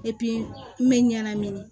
n bɛ ɲanamini